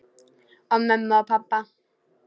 Og mömmu og pabba.